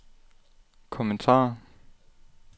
kommentarer